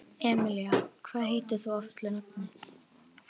Emelía, hvað heitir þú fullu nafni?